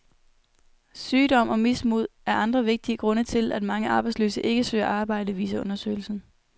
Sygdom og mismod er andre vigtige grunde til, at mange arbejdsløse ikke søger arbejde, viser undersøgelsen.